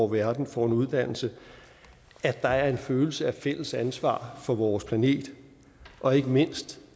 verden får en uddannelse at der er en følelse af fælles ansvar for vores planet og ikke mindst